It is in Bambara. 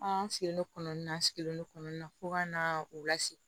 An sigilen don kɔnɔni na an sigilen don kɔlɔn in na fo ka na u lase